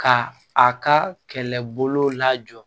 Ka a ka kɛlɛbolo lajɔ